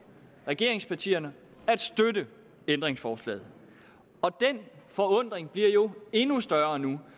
regeringspartierne at støtte ændringsforslaget den forundring bliver jo endnu større nu